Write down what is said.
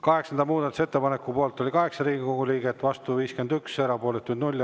Kaheksanda muudatusettepaneku poolt oli 8 Riigikogu liiget, vastu 51, erapooletuid 0.